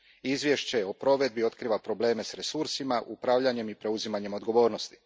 Izvješće o provedbi otkriva probleme s resursima, upravljanjem i preuzimanjem odgovornosti.